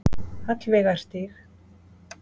Hallveigarstíg